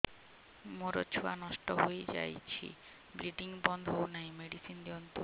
ମୋର ଛୁଆ ନଷ୍ଟ ହୋଇଯାଇଛି ବ୍ଲିଡ଼ିଙ୍ଗ ବନ୍ଦ ହଉନାହିଁ ମେଡିସିନ ଦିଅନ୍ତୁ